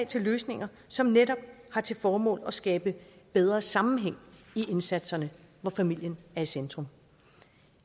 til løsninger som netop har til formål at skabe bedre sammenhæng i indsatserne hvor familien er i centrum